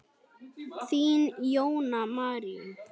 Þín, Jóna Marín.